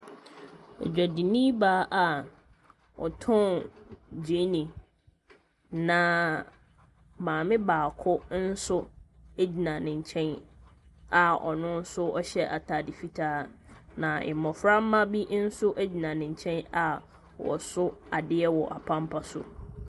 Odwadini baa a ɔtɔn gyeene, na maame baako nso gyina ne nkyɛn a ɔno nso ɔhyɛ atade fitaa, na mmɔframma bi nso gyina ne nkyɛn a wɔso adeɛ wɔ apampan so.